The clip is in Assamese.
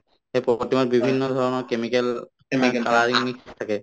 সেই প্ৰ‍‍ প্ৰতিমাত বিভিন্ন ধৰণৰ chemical, colouring mix থাকে